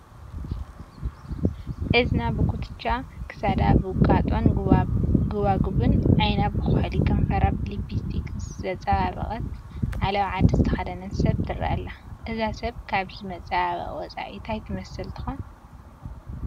እዝና ብኹትቻ፣ ክሳዳ ብውቃጦን ጐባጉብን፣ ዓይና ብኹሕሊ፣ ከንፈራ ብሊፕስቲክ ዘፀባበቐት ዓለባ ዓዲ ዝተኸደነት ሰብ ትርአ ኣላ፡፡ እዛ ሰብ ካብዚ መፀባበቒ ወፃኢ ታይ ትመስል ትኾን?